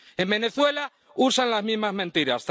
En Venezuela usan las mismas mentiras.